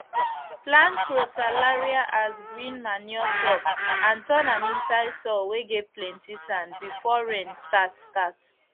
plant crotalaria as green manure crop and turn am inside soil whey get plenty sand before rain start start